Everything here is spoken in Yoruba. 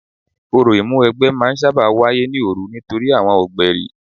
Orò ìmúniwẹgbẹ́ sábà máa ń wáyé ní òru nítorí àwọn ọ̀gbẹ̀rì.